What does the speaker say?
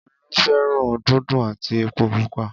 Olú fé̩ràn dùńdún àti epo pupa